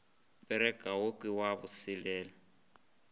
bereka wo ke wa boselela